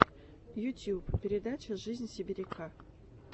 ютюб передача жизнь сибиряка